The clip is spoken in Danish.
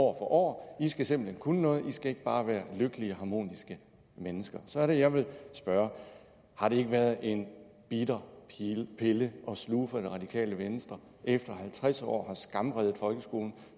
år de skal simpelt hen kunne noget de skal ikke bare være lykkelige og harmoniske mennesker så er det at jeg vil spørge har det ikke været en bitter pille at sluge for det radikale venstre efter i halvtreds år at have skamredet folkeskolen